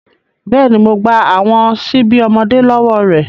Bẹ́ẹ̀ni, Mo gba awọn ṣibi ọmọde lọwọ rẹ